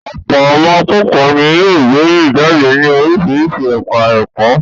Ọ̀pọ̀ àwọn akẹ́kọ̀ọ́ ni yóò gboyè jáde ní oríṣiríṣi ẹ̀ka-ẹ̀kọ́.